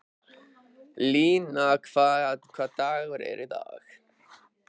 Lína, hvaða dagur er í dag?